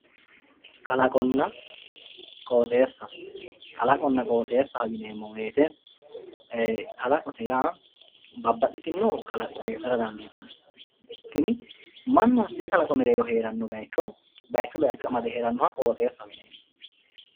Kalaqonna qooxeesa kalaqona qooxesa yineemo woyite kalaqote yaa babaxitino kalaqo heerara dandditano mannu hatee bayicho agare loosanoha qooxesaho yinani.